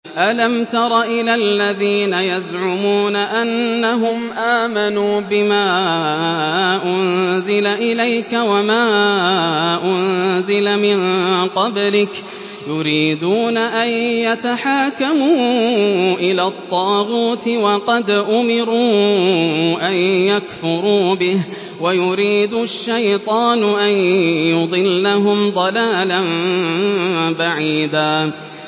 أَلَمْ تَرَ إِلَى الَّذِينَ يَزْعُمُونَ أَنَّهُمْ آمَنُوا بِمَا أُنزِلَ إِلَيْكَ وَمَا أُنزِلَ مِن قَبْلِكَ يُرِيدُونَ أَن يَتَحَاكَمُوا إِلَى الطَّاغُوتِ وَقَدْ أُمِرُوا أَن يَكْفُرُوا بِهِ وَيُرِيدُ الشَّيْطَانُ أَن يُضِلَّهُمْ ضَلَالًا بَعِيدًا